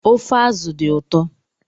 Ofe azụ dị ụtọ